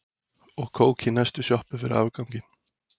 Og kók í næstu sjoppu fyrir afganginn.